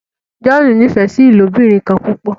John n'ifẹ sí ilobirin kán púpọ.